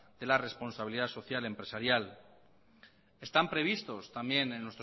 de la responsabilidad social empresarial están previstos también en